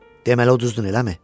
Deməli uduzdun, eləmi?